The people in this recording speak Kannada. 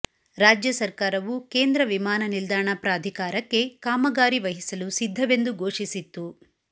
ರಾಜ್ಯ ಸರ್ಕಾರವು ಕೇಂದ್ರ ವಿಮಾನ ನಿಲ್ದಾಣ ಪ್ರಾಧಿಕಾರಕ್ಕೆ ಕಾಮಗಾರಿ ವಹಿಸಲು ಸಿದ್ದವೆಂದು ಘೋಷಿಸಿತ್ತು